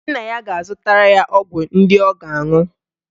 Nna ya ga-azụtara ya ọgwụ ndị ọ ga-anụ.